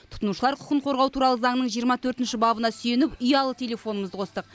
тұтынушылар құқын қорғау туралы заңның жиырма төртінші бабына сүйеніп ұялы телефонымызды қостық